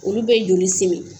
Olu bɛ joli simi.